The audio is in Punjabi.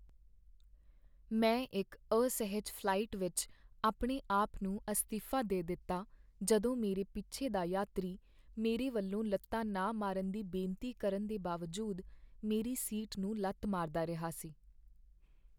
ਮੈਂ ਇੱਕ ਅਸਹਿਜ ਫ਼ਲਾਈਟ ਵਿੱਚ ਆਪਣੇ ਆਪ ਨੂੰ ਅਸਤੀਫਾ ਦੇ ਦਿੱਤਾ ਜਦੋਂ ਮੇਰੇ ਪਿੱਛੇ ਦਾ ਯਾਤਰੀ ਮੇਰੇ ਵੱਲੋਂ ਲੱਤਾ ਨਾ ਮਾਰਨ ਦੀ ਬੇਨਤੀ ਕਰਨ ਦੇ ਬਾਵਜੂਦ ਮੇਰੀ ਸੀਟ ਨੂੰ ਲੱਤ ਮਾਰਦਾ ਰਿਹਾ ਸੀ।